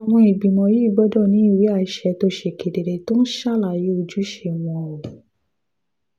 àwọn ìgbìmọ̀ yìí gbọ́dọ̀ ní ìwé àṣẹ tó ṣe kedere tó ń ṣàlàyé ojúṣe wọn ó